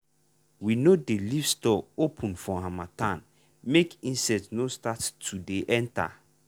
we no dey leave store open for harmattan make insect no start to dey enter.